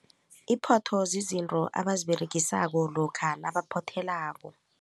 Iphotho zizinto abaziberegisako lokha nabaphotheleko.